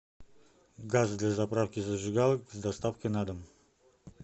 газ для заправки зажигалок с доставкой на дом